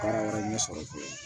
Baara wɛrɛ ɲɛ sɔrɔ cogo